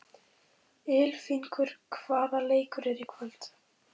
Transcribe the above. Ylfingur, hvaða leikir eru í kvöld?